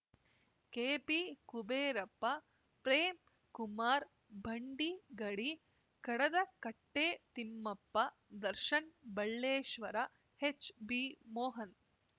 K P Kuberappa Premkumar Bhandigadi ಕಡದಕಟ್ಟೆತಿಮ್ಮಪ್ಪ Darshan ಬಳ್ಳೇಶ್ವರ HB Mohan